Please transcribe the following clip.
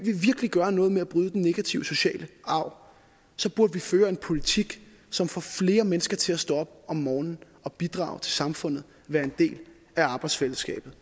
vi virkelig gøre noget ved at bryde den negative sociale arv burde vi føre en politik som får flere mennesker til at stå op om morgenen og bidrage til samfundet være en del af arbejdsfællesskabet